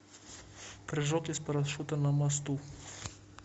прыжок из парашюта на мосту